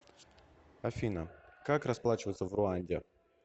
афина как расплачиваться в руанде